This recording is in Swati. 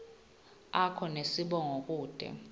akho nesibongo kute